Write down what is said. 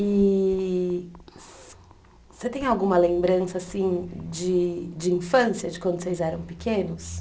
E você tem alguma lembrança assim de de infância, de quando vocês eram pequenos?